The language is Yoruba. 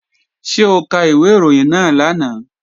Ṣé o ka ìwé ìròyìn náà lánàá?